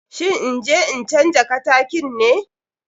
Shin inje in canja katakin ne?